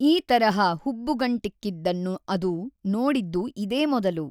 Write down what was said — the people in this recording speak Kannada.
ಈ ತರಹ ಹುಬ್ಬುಗಂಟಿಕ್ಕಿದ್ದನ್ನು ಅದು ನೋಡಿದ್ದು ಇದೇ ಮೊದಲು.